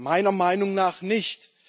Meiner Meinung nach nicht.